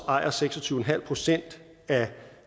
ejer seks og tyve en halv procent af